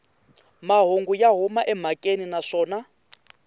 mahungu ya huma emhakeni naswona